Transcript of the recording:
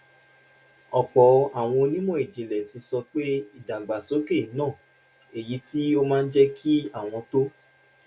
ọ̀pọ̀ àwọn onímọ̀ ìjìnlẹ̀ ti sọ pé ìdàgbàsókè náà èyí tó máa jẹ́ kí àwọn tó